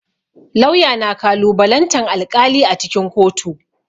Lauya na kalubalantan alƙali a cikin kotu.